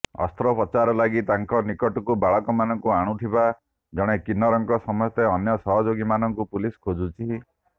ଅସ୍ତ୍ରୋପଚାର ଲାଗି ତାଙ୍କ ନିକଟକୁ ବାଳକମାନଙ୍କୁ ଆଣୁଥିବା ଜଣେ କିନ୍ନରଙ୍କ ସମେତ ଅନ୍ୟ ସହଯୋଗୀମାନଙ୍କୁ ପୁଲିସ ଖୋଜୁଛି